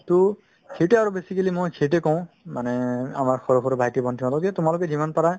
to সেইটোয়ে আৰু basically মই সেইটোয়ে কওঁ মানে আমাৰ সৰু সৰু ভাইটি-ভণ্টিসকলক যে তোমালোকে যিমান পাৰা